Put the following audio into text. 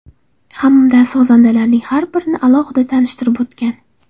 Hamda sozandalarining har birini alohida tanishtirib o‘tgan.